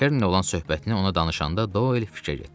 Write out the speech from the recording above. Kernlə olan söhbətini ona danışanda Doyl fikrə getdi.